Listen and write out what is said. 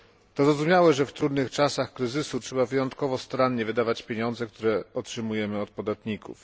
To zrozumiałe, że w trudnych czasach kryzysu trzeba wyjątkowo starannie wydawać pieniądze, które otrzymujemy od podatników.